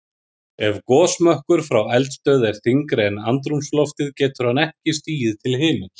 Ef gosmökkur frá eldstöð er þyngri en andrúmsloftið getur hann ekki stigið til himins.